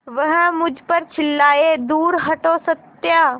वह मुझ पर चिल्लाए दूर हटो सत्या